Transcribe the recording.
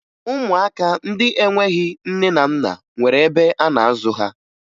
Ụmụaka ndị enweghi nne na nna nwere ebe a na-azụ ha